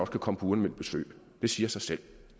kan komme på uanmeldt besøg det siger sig selv